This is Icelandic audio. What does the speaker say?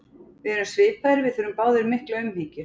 Við erum svipaðir, við þurfum báðir mikla umhyggju.